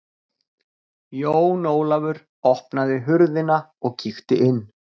Jón Ólafur opnaði hurðina og kíkti inn.